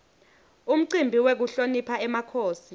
umcimbi wekuhlonipha emakhosi